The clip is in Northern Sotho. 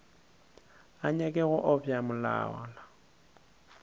a nyake go obja molala